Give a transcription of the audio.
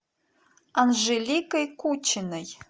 анжеликой кучиной